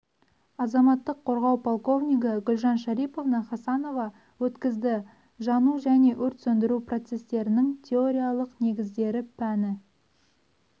азаматтық қорғау полковнигі гүлжан шариповна хасанова өткізді жану және өрт сөндіру процестерінің теориялық негіздері пәні